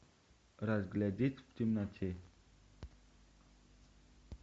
разглядеть в темноте